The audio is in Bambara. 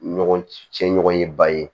Ɲɔgɔn cɛ ɲɔgɔn ye ba ye